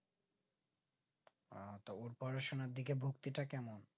আ তো ওর পড়াশোনার দিকে ভক্তিটা কেমন?